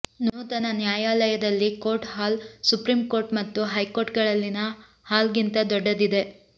ನೂತನ ನ್ಯಾಯಾಲಯದಲ್ಲಿ court hall supreme court ಮತ್ತು ಹೈಕೋರ್ಟ್ಗಳಲ್ಲಿನ ಹಾಲ್ಗಿಂತ ದೊಡ್ಡದಿದೆ